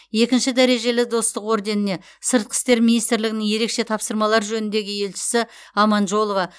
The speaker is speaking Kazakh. екінші дәрежелі достық орденіне сыртқы істер министрлігінің ерекше тапсырмалар жөніндегі елшісі аманжолова